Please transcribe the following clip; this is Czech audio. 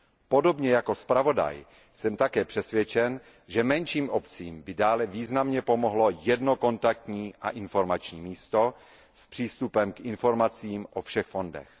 Podobně jako zpravodaj jsem také přesvědčen, že menším obcím by dále významně pomohlo jedno kontaktní a informační místo s přístupem k informacím o všech fondech.